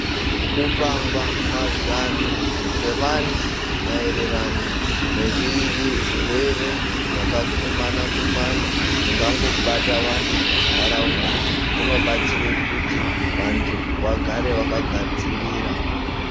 Kupangwa mazano kwevantu maererano ngezvirwere zvakakumana kumana zvingangobata vantu munharaunda zvinobatsira vantu kuti vagare vakagadzirira.